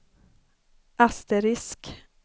asterisk